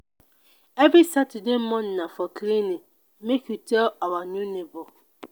every saturday morning na for cleaning make you tell our new nebor.